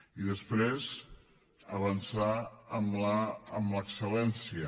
i després avançar en l’excel·lència